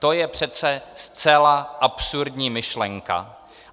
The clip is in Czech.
To je přece zcela absurdní myšlenka.